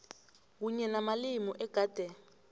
kunye namalimi egade